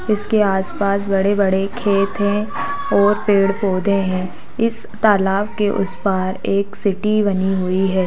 इसके आसपास बड़े-बड़े खेत है और पेड़-पौधे है इस तालाब के उस पार एक सिटी बनी हुई है।